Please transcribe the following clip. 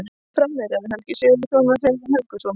Framherjar: Helgi Sigurðsson og Heiðar Helguson.